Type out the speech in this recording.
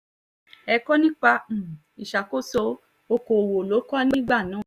ẹ̀kọ́ nípa um ìṣàkóso okòòwò ló kọ́ nígbà náà